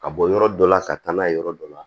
Ka bɔ yɔrɔ dɔ la ka taa n'a ye yɔrɔ dɔ la